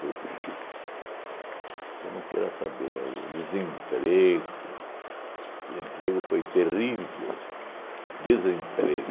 Puxa, você não queira saber, o desemprego, desemprego foi terrível, desemprego.